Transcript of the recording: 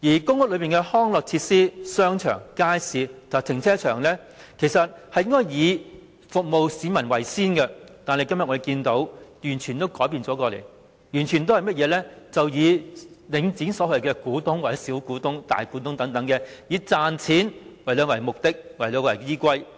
公屋的康樂設施、商場、街市及停車場應該以服務市民為先，但我們今天看到的已經完全改變，完全是以領展所謂的"股東"、"小股東"或"大股東"為先，以賺錢為目的和依歸。